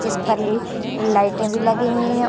जिस पर लाइटें भी लगी हुई है ।